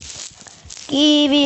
иви